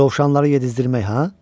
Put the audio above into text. Dovşanları yedizdirmək ha?